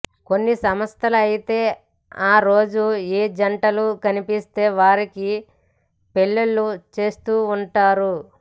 కొన్ని సంస్థలు అయితే ఆ రోజున ఏ జంటలు కనిపిస్తే వారికి పెళ్లిళ్లు చేసేస్తుంటారు